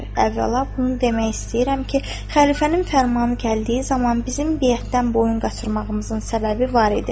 Əvvəla bunu demək istəyirəm ki, xəlifənin fərmanı gəldiyi zaman bizim biyətdən boyun qaçırmağımızın səbəbi var idi.